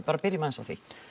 byrjum aðeins á því